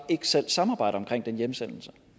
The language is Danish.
ikke selv samarbejder omkring den hjemsendelse